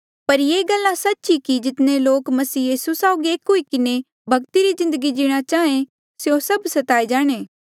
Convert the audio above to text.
पर ये गल्ला सच्च ई कि जितने लोक मसीह यीसू साउगी एक हुई किन्हें भक्ति री जिन्दगी जीणा चाहें स्यों सभ सताए जाणे